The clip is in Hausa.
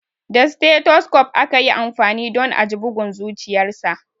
Da stethoscope aka yi amfani don a ji bugun zuciyarsa.